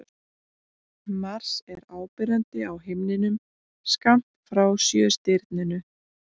Mars er áberandi á himninum skammt frá Sjöstirninu.